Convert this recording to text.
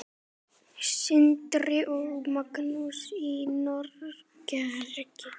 Sindri og Magnús í Noregi.